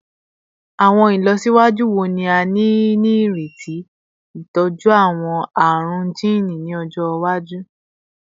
Awọn ilọsiwaju wo ni a nireti ni itọju awọn arun jiini ni ọjọ iwaju?